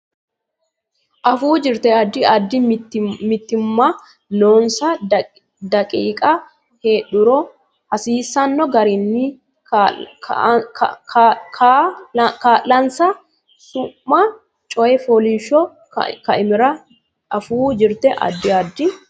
Afuu Jirte Addi addi mitiimma noonsa daqiiqa heedhuro hasiisanno garinni kaa linsa Su ma Coy fooliishsho Kaimira Afuu Jirte Addi addi.